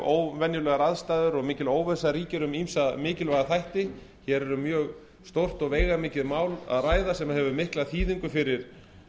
óvenjulegar og mikil óvissa ríkir um ýmsa mikilvæga þætti hér er um mjög stórt og veigamikið mál að ræða sem hefur mikla þýðingu fyrir